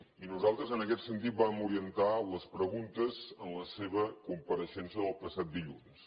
i nosaltres en aquest sentit vam orientar les preguntes en la seva compareixença del passat dilluns